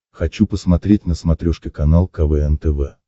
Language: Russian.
хочу посмотреть на смотрешке канал квн тв